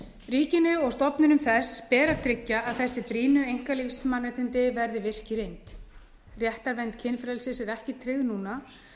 ríkinu og stofnunum þess ber að tryggja að þessi brýnu einkalífsmannréttindi verði virk í reynd réttarvernd kynfrelsis er ekki tryggð núna